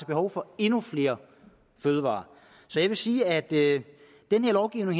behov for endnu flere fødevarer så jeg vil sige at den her lovgivning